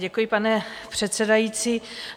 Děkuji, pane předsedající.